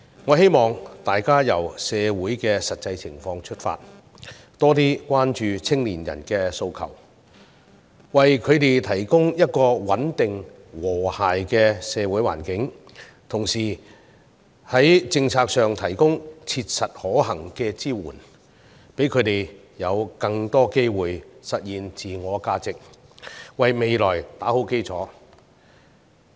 我希望大家由社會的實際情況出發，多些關注青年人的訴求，為他們提供一個穩定、和諧的社會環境，同時在政策上提供切實可行的支援，讓他們有更多機會實現自我價值，為未來打好基礎。